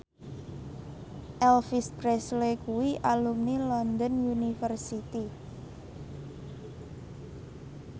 Elvis Presley kuwi alumni London University